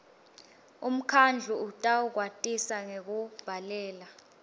umkhandlu utawukwatisa ngekukubhalela